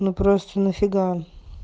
ну просто нафига